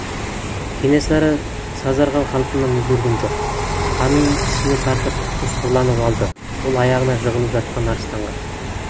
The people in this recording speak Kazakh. кенесары сазарған қалпынан өзгерген жоқ қанын ішіне тартып тіпті сұрланып алды ол аяғына жығылып жатқан арыстанға